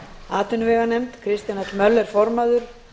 atvinnuveganefnd kristján l möller formaður